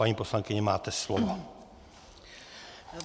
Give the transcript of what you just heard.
Paní poslankyně, máte slovo.